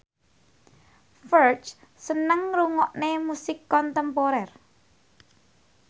Ferdge seneng ngrungokne musik kontemporer